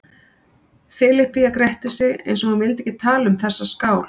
Filippía gretti sig eins og hún vildi ekki tala um þessa skál.